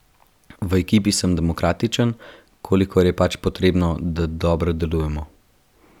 V ekipi sem demokratičen, kolikor je pač potrebno, da dobro delujemo.